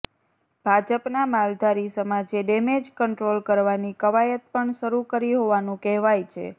ભાજપના માલધારી સમાજે ડેમેજ કન્ટ્રોલ કરવાની કવાયત પણ શરૂ કરી હોવાનું કહેવાય છે